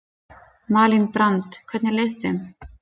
Malín Brand: Hvernig leið þeim?